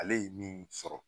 Ale ye min sɔrɔ